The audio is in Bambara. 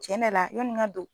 Tiɲɛ de la yani n ka don.